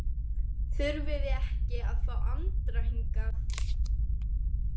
Þurfum við ekki að fá Andra hingað?